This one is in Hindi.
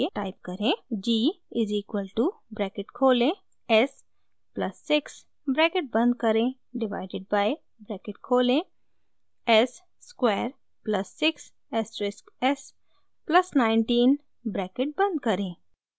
g is equal to bracket खोलें s प्लस 6 ब्रैकेट बंद करें डिवाइडेड बाइ ब्रैकेट खोलें s square plus 6 asterisk s plus 19 bracket बंद करें